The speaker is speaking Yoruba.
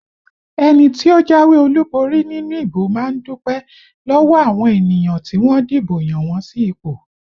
Ẹni tí ó jáwé olúborí nínú ìbò má ń dúpẹ́ lọ́wọ́ àwọn ènìyàn tí wọ́n dìbò yàn wọn sí ipò